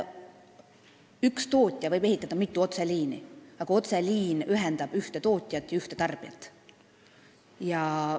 Üks tootja võib ehitada mitu otseliini, aga otseliin ühendab ühte tootjat ühe tarbijaga.